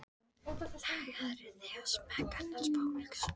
Lagaðir þig að smekk annars fólks.